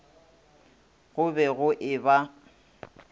go be go e ba